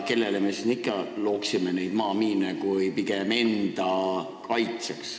Kellele me neid maamiine siin ikka toodaksime kui mitte enda kaitseks.